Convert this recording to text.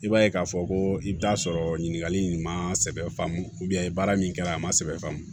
I b'a ye k'a fɔ ko i bɛ taa sɔrɔ ɲininkali in ma sɛbɛ faamu baara min kɛra a ma sɛbɛ faa ma